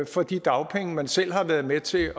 for de dagpenge man selv har været med til